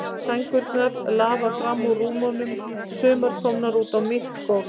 Sængurnar lafa fram úr rúmunum, sumar komnar út á mitt gólf.